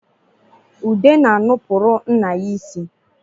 Ude na-anụpụrụ nna ya isi